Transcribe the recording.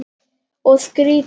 Og skrýtið líf.